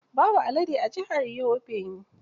Babu alade a jihar Yobe.